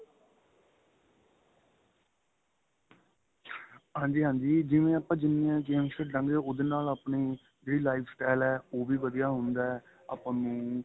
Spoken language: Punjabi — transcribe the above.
ਹਾਂਜੀ ਹਾਂਜੀ ਜਿਵੇਂ ਆਪਾ ਜਿੰਨੀਆ games ਖੇਡਾਂ ਗਏ ਉਹਦੇ ਨਾਲ ਆਪਣੇ ਜਿਹੜੀ life style ਏ ਉਹ ਵੀ ਵਧੀਆ ਹੁੰਦਾ ਏ ਆਪਾਂ ਨੂੰ